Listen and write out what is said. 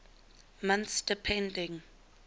months depending